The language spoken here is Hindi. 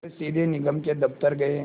वे सीधे निगम के दफ़्तर गए